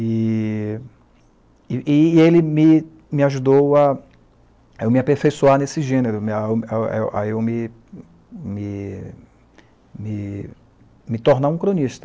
E e e ele e me me ajudou a me a me aperfeiçoar nesse gênero, me a a a a a eu me me me me tornar um cronista.